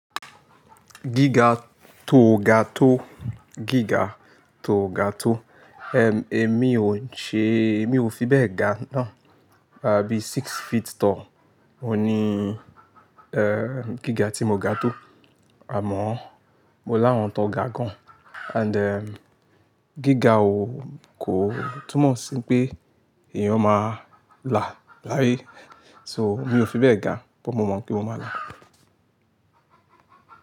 Gíga tò ga tò, gíga tò ga tò. Émi ò ṣe, mi ò fi bẹ́ẹ̀ ga náà, bí six feet tall. Oun ní, ẹ́, gíga tí mo ga tó àmọ́ mo láwọn tán ga gan. And ẹ́, gíga ò kò túmọ̀ sí pé èèyàn máa là láyé. So mi ò fi bẹ́ẹ̀ ga bó mo mọ̀ pé mo máa gà.